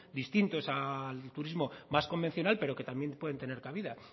distintos al turismo más convencional pero que también pueden tener cabida